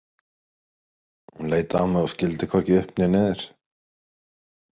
Hún leit á mig og skildi hvorki upp né niður.